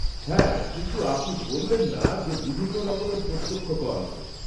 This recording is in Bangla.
হ্যাঁ, কিন্তু আপনি বললেন না, যে বিভিন্ন রকমের প্রত্যক্ষ কর আছে?